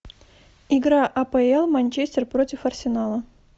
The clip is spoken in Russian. игра апл манчестер против арсенала